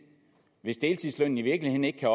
hvis deltidslønnen i virkeligheden ikke